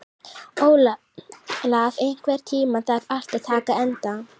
Olaf, einhvern tímann þarf allt að taka enda.